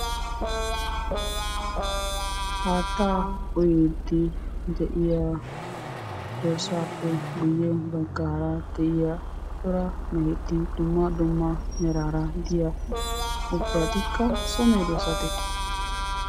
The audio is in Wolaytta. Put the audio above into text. Haattaa uyiiddi de'iya dorssaappe guyye baggaara de'iya cora meheti dumma dumma meraara diya ubbatikka so medoosatee?